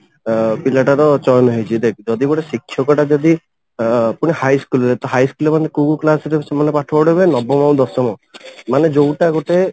ଅ ପିଲାଟାର ଚୟନ ହେଇଛି ଦେଖ ଯଦି ଗୋଟେ ଶିକ୍ଷକଟା ଯଦି ଅ ପୁଣି high school ରେ ତ high school ରେ ମାନେ କଉ class ରେ ସେମାନେ ପାଠ ପଢେଇବେ ନବମ ଆଉ ଦଶମ ମାନେ ଯଉଟା ଗୋଟେ